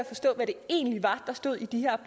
forstå hvad det egentlig var der stod i de her